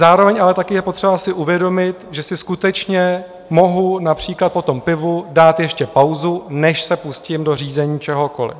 Zároveň ale také je potřeba si uvědomit, že si skutečně mohu například po tom pivu dát ještě pauzu, než se pustím do řízení čehokoliv.